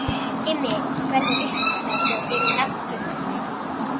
Immi verður upp með sér yfir nafngiftinni.